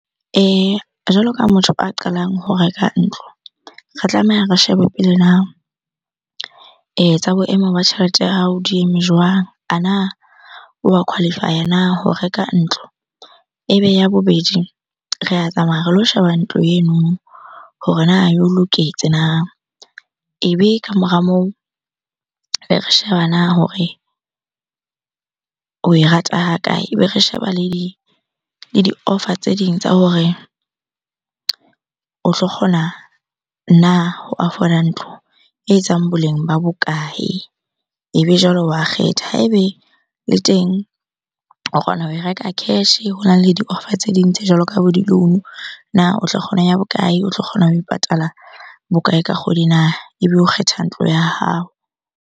Jwalo ka motho a qalang ho reka ntlo, re tlameha re shebe pele na tsa boemo ba tjhelete ya hao di eme jwang? A na oa qualify na ho reka ntlo? Ebe ya bobedi, re a tsamaya re lo sheba ntlo eno hore na yo loketse na? Ebe ka mora moo, be re sheba na hore oe rata ha kae? Ebe re sheba le di-offer tse ding tsa hore o tlo kgona na ho afford-a ntlo e etsang boleng ba bokae? Ebe jwalo wa kgetha. Ha ebe le teng o kgona ho e reka cash-e, hona le di-offer tse ding tse jwalo ka bo di-loan-o. Na o tla kgona ya bokae? O tlo kgona ho e patala bokae ka kgwedi na? Ebe o kgetha ntlo ya hao.